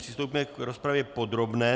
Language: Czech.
Přistoupíme k rozpravě podrobné.